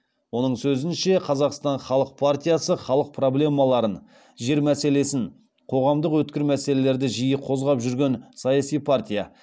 оның сөзінше қазақстан халық партиясы халық проблемаларын жер мәселесін қоғамдық өткір мәселелерді жиі қозғап жүрген саяси партия